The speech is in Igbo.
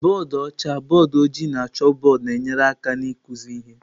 Bọdụ ọcha, bọọdụ ojii na chalkbọọdụ na-enyere aka n'ịkụzi ihe.